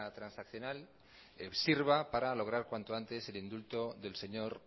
transaccional sirva para lograr cuanto antes el indulto del señor